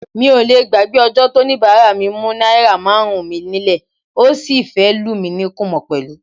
Mi ò lé gbàgbé ọjọ́ tóníbàárà mú náírà márùn-ún mi nílẹ̀, ó sì fẹ́ lù mí ní kúmọ̀ pẹ̀lú.